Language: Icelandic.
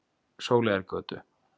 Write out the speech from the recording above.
Sóleyjargötu